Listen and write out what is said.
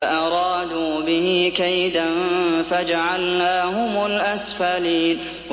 فَأَرَادُوا بِهِ كَيْدًا فَجَعَلْنَاهُمُ الْأَسْفَلِينَ